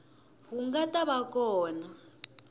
wu nga ta va kona